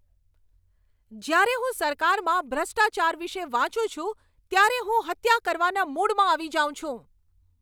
જ્યારે હું સરકારમાં ભ્રષ્ટાચાર વિશે વાંચું છું ત્યારે હું હત્યા કરવાના મૂડમાં આવી જાઉં છું.